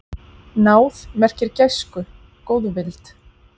Náð merkir gæsku, góðvild.